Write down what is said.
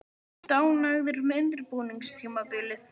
Ertu ánægður með undirbúningstímabilið?